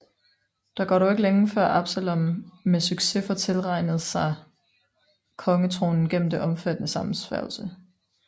Der går dog ikke længe før Absalom med succes får tilranet sig kongetronen gennem en omfattende sammensværgelse